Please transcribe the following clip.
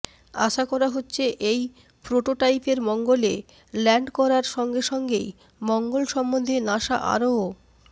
আশা করা হচ্ছে এই প্রোটোটাইপের মঙ্গলে ল্যান্ড করার সঙ্গে সঙ্গেই মঙ্গল সম্বন্ধে নাসা আরও